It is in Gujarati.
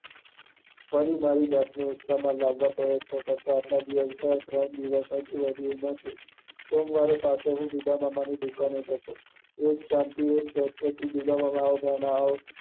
ફરી મારી જાત ને ઉત્સાહ માં આલ્વા પ્રયતન કરતા, આટલા દિવસ ગયા, બીજા ત્રણ દિવસ વધારે એમાં શું? સોમવારે ઉદ્દમામાં ની દુકાને જતો એજ શાંતિ એજ સહજતા થી ઉદ્દમામાં આવો ભાણા આવો.